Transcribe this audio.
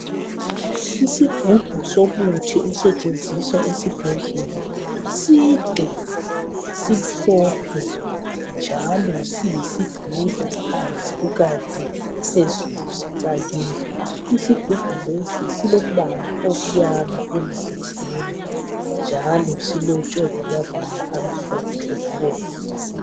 Isigumbu somuthi osetshengisa esibhedlela side simhlophe njalo siyisidudla phansi kukanti phezulu sicakile. Isigumbu lesi silompala omnyama emzimbeni njalo silotshwe ngamabala amhlophe labomvu.